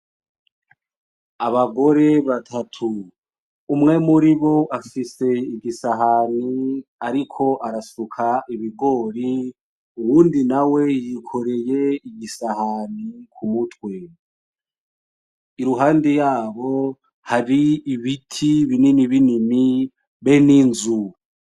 Abagore batatu umwe muribo afise igisahani ariko arasuka ibigori uwundi nawe yikoreye igisahani ku mutwe iruhande yabo hari ibiti binini binini be n'inzu.